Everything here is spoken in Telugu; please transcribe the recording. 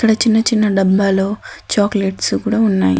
ఇక్కడ చిన్న చిన్న డబ్బాలో చాక్లెట్స్ కూడా ఉన్నాయి.